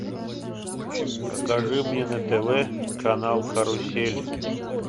покажи мне на тв канал карусель